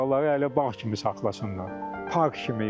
Bağları elə bağ kimi saxlasınlar, park kimi yox.